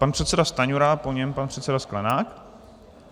Pan předseda Stanjura, po něm pan předseda Sklenák.